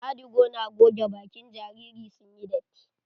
Adigo na goge bakin jariri sun yi datti.